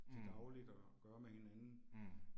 Mh. Mh